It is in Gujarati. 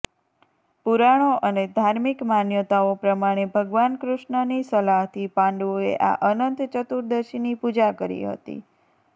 પુરાણો અને ધાર્મિક માન્યતાઓ પ્રમાણે ભગવાન કૃષ્ણની સલાહથી પાંડવોએ આ અનંત ચતુર્દશીની પૂજા કરી હતી